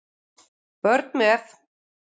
Börn með